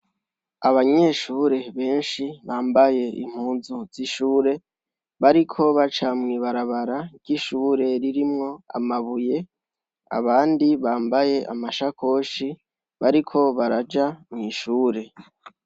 Abanyeshure benshi bambaye impuzu z'ishure bariko baca mw'ibarabara ry'ishure ririmwo amabuye abandi bambaye amasakoshi bariko baraja mw'ishure.